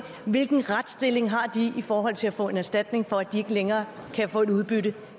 hvilken retsstilling har de i forhold til at få en erstatning for at de ikke længere kan få et udbytte